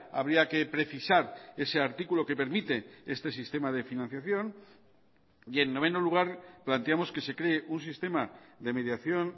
habría que precisar ese artículo que permite este sistema de financiación y en noveno lugar planteamos que se cree un sistema de mediación